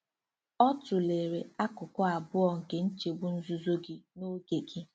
Ọ tụlere akụkụ abụọ nke nchegbu - nzuzo gị na oge gị.